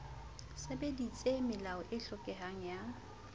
sebedisitse melao e hlokehang ya